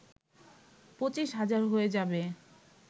পঁচিশ হাজার হয়ে যাবে